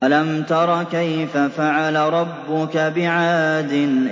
أَلَمْ تَرَ كَيْفَ فَعَلَ رَبُّكَ بِعَادٍ